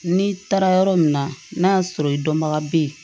N'i taara yɔrɔ min na n'a y'a sɔrɔ i dɔnbaga bɛ yen